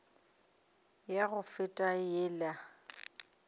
ya go feta le ya